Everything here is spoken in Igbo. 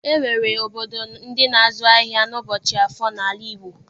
E nwere obodo ndị na-azụ ahịa n'ụbọchị Afọ n'ala Igbo.